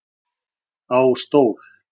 Á stól